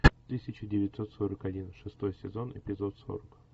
тысяча девятьсот сорок один шестой сезон эпизод сорок